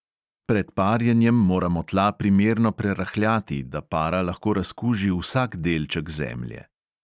Pred parjenjem moramo tla primerno prerahljati, da para lahko razkuži vsak delček zemlje.